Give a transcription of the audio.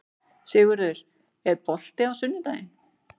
Sigurður, er bolti á sunnudaginn?